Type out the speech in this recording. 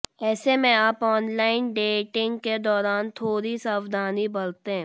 ऐसे में आप ऑनलाइन डेटिंग के दौरान थोड़ी सावधानी बरतें